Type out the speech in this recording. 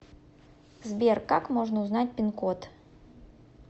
сбер как можно узнать пин код